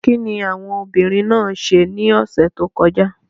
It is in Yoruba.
Kíni àwọn obìnrin náà ṣe ní ọ̀sẹ̀ tó kọjá?